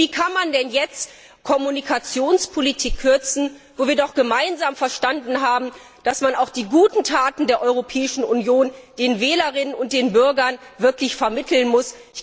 Und wie kann man denn jetzt bei der Kommunikationspolitik kürzen, wo wir doch gemeinsam verstanden haben, dass man auch die guten Taten der Europäischen Union den Wählerinnen und den Bürgern wirklich vermitteln muss?